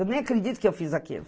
Eu nem acredito que eu fiz aquilo.